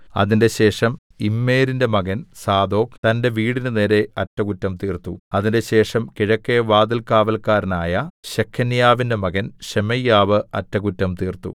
അതിന്‍റെശേഷം ഇമ്മേരിന്റെ മകൻ സാദോക്ക് തന്റെ വീടിന് നേരെ അറ്റകുറ്റം തീർത്തു അതിന്‍റെശേഷം കിഴക്കെ വാതിൽകാവല്ക്കാരനായ ശെഖന്യാവിന്റെ മകൻ ശെമയ്യാവ് അറ്റകുറ്റം തീർത്തു